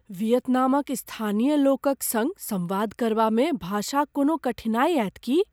वियतनामक स्थानीय लोकक सङ्ग संवाद करबामे भाषाक कोनो कठिनाइ आयत की ?